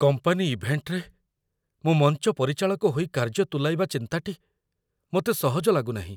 Company ଇଭେଣ୍ଟରେ, ମୁଁ ମଞ୍ଚ ପରିଚାଳକ ହୋଇ କାର୍ଯ୍ୟ ତୁଲାଇବା ଚିନ୍ତାଟି ମୋତେ ସହଜ ଲାଗୁ ନାହିଁ।